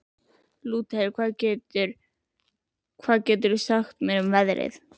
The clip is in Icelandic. Lúter, hvað geturðu sagt mér um veðrið?